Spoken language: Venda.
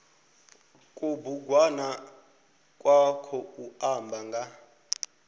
kubugwana kwa khou amba nga